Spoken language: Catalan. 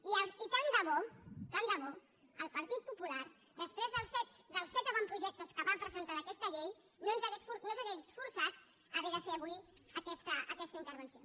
i tant de bo tant de bo el partit popular després dels set avantprojectes que va presentar d’aquesta llei no ens hagués forçat a haver de fer avui aquesta intervenció